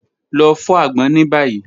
Lọ fọ agbon ni bayi.